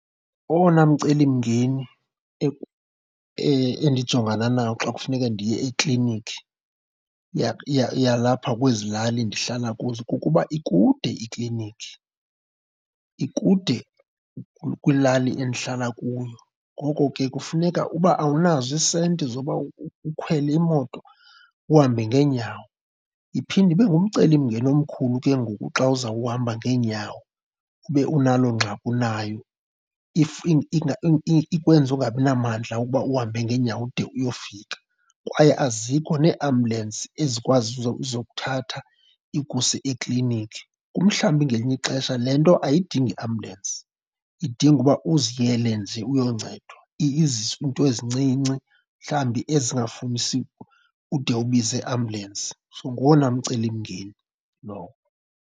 Owona mcelimngeni endijongana nawo xa kufuneke ndiye ekliniki yalapha kwezi lali ndihlala kuzo kukuba ikude ikliniki, ikude kwilali endihlala kuyo. Ngoko ke kufuneka uba awunazo iisenti zoba ukhwele imoto, uhambe ngeenyawo. Iphinde ibe ngumcelimngeni omkhulu ke ngoku xa uzawuhamba ngeenyawo ube unaloo ngxaki unayo, ikwenza ungabi namandla okuba uhambe ngeenyawo ude uyofika. Kwaye azikho neeambulensi ezikwazi uzokuthatha ikuse ekliniki. Umhlawumbi ngelinye ixesha le nto ayidingi ambulensi, idinga uba uziyele nje uyoncedwa. Izinto ezincinci, mhlawumbi ezingafunisi ude ubize iambulensi. So ngowona mcelimngeni lowo.